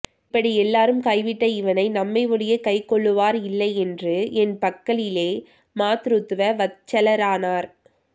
இப்படி எல்லாரும் கை விட்ட இவனை நம்மை ஒழியக் கைக் கொள்ளுவார் இல்லை என்று என் பக்கலிலே மாத்ருத்வ வத்சலரானார்